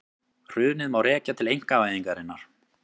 Hrunið má rekja til einkavæðingarinnar